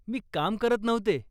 मी काम करत नव्हते.